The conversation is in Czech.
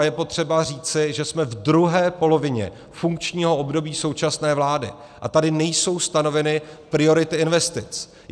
A je potřeba říci, že jsme v druhé polovině funkčního období současné vlády, a tady nejsou stanoveny priority investic.